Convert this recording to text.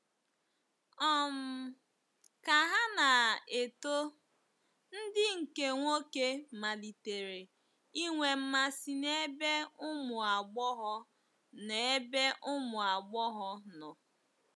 um Ka ha na - eto, ndị nke nwoke malitere inwe mmasị n’ebe ụmụ agbọghọ n’ebe ụmụ agbọghọ nọ.